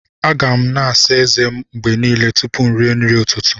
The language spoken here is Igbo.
A ga m na-àsá ezé m mgbe niile tupu m rie nri n'ụtụtụ